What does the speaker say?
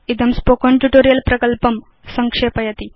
इदं spoken tutorial प्रकल्पं संक्षेपयति